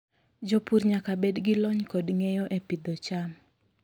Jopur nyaka bed gi lony kod ng'eyo e pidho cham.